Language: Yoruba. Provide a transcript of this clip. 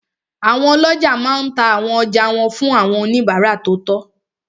Àwọn ọlọ́jà máa n ta àwọn ọjà wọn fún àwọn oníbàárà tó tọ́